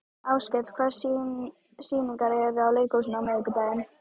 Áskell, hvaða sýningar eru í leikhúsinu á miðvikudaginn?